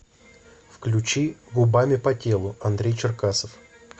включи губами по телу андрей черкасов